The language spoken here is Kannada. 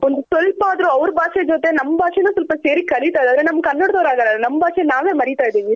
ಒಂದು ಸ್ವಲ್ಪ ಆದರು ಅವ್ರ್ ಭಾಷೆ ಜೊತೆ ನಮ್ ಭಾಷೆ ನು ಸ್ವಲ್ಪ ಸೇರಿ ಕಲಿತ ಇದ್ದಾರೆ ಆದ್ರೆ ನಮ್ ಕನ್ನಡದವ್ರ್ ಆಗಲ್ಲ ನಮ್ ಭಾಷೆ ನಾವೇ ಮರಿತ ಇದಿವಿ.